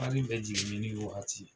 Hali ɛɛ jiginni ni wagati.